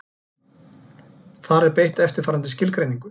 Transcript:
Þar er beitt eftirfarandi skilgreiningu: